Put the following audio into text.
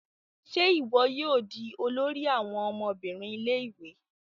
Ṣe iwọ yóò di olori àwọn ọmọbìnrin ilé-ìwé?